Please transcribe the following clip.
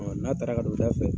N'a taara k'a do o da fɛ.